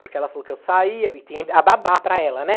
porque ela falou que eu saía, e tinha a babá para ela, né?